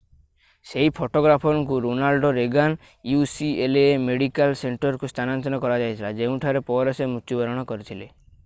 ସେହି ଫଟୋଗ୍ରାଫରଙ୍କୁ Ronald Reagan ucla medical ସେଣ୍ଟରକୁ ସ୍ଥାନାନ୍ତର କରାଯାଇଥିଲା ଯେଉଁଠାରେ ପରେ ସେ ମୃତ୍ୟୁବରଣ କରିଥିଲେ